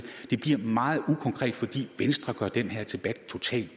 meget ukonkret fordi venstre gør den her debat totalt